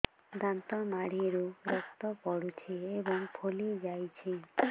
ଦାନ୍ତ ମାଢ଼ିରୁ ରକ୍ତ ପଡୁଛୁ ଏବଂ ଫୁଲି ଯାଇଛି